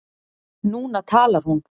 Núna talar hún.